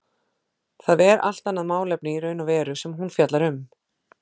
Það er allt annað málefni í raun og veru sem hún fjallar um.